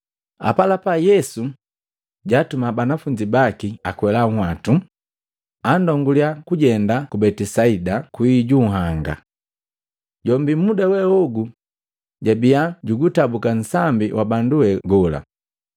Apalapa Yesu jatuma banafunzi baki akwela nhwatu, andonguliya kujenda ku Betisaida kwii ju nhanga. Jombi muda we ogu jabia jugutabuka nsambi wa bandu we gola.